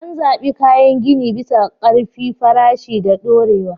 An zaɓi kayan gini bisa ƙarfi, farashi, da dorewa.